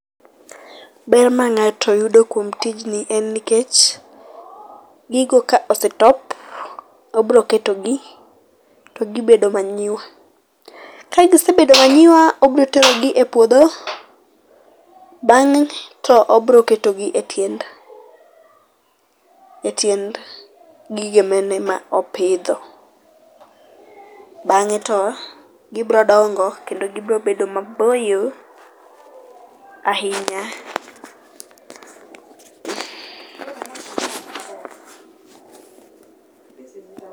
Ber ma ng'ato yudo kuom tijni en nikech gigo ka osetop to obiro ketogi to gibedo manyiwa. Ka gisebedo manyiwa obiro terogi e puodho, bang'e to obiro ketogi e tiend e tiend gigene manopidho. Bang'e to gibiro dongo kendo gibiro bedo maboyo ahinya.